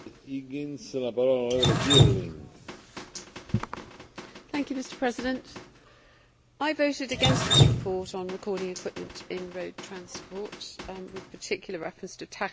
Mr President, I voted against this report on recording equipment in road transport with particular reference to tachographs. I know how important tachographs are.